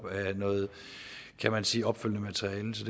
af noget kan man sige opfølgende materiale så